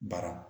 Bara